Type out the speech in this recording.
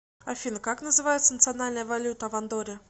афина как называется национальная валюта в андорре